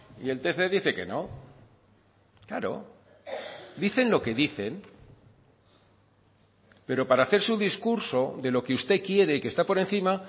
y el tc dice que no claro dicen lo que dicen pero para hacer su discurso de lo que usted quiere que está por encima